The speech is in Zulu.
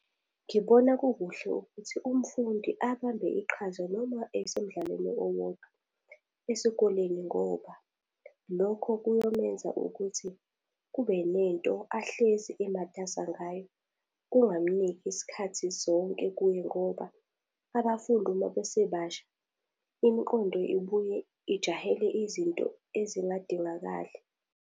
Ngibona kukuhle ukuthi umfundi abambe iqhaza noma esemdlalweni owodwa esikoleni ngoba, lokho kuyomenza ukuthi kube nento ahlezi ematasa ngayo. Kungamuniki isikhathi sonke kuye ngoba abafundi uma bese basha, imiqondo ibuye ijahele izinto ezingadingakali.